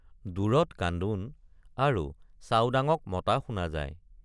দূৰত কান্দোন আৰু চাওডাঙক মতা শুনা যায়।